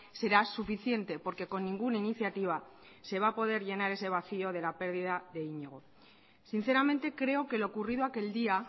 será suficiente porque con ninguna iniciativa se va a poder llenar ese vacío de la pérdida de iñigo sinceramente creo que lo ocurrido aquel día